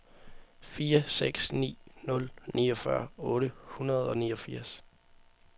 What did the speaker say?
fire seks ni nul niogfyrre otte hundrede og niogfirs